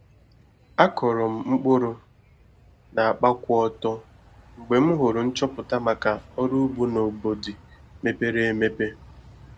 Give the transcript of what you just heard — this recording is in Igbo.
Akọrọ m mkpụrụ na akpa kwụ ọtọ mgbe m hụrụ nchọpụta maka ọrụ ugbo na obodi mepere emepe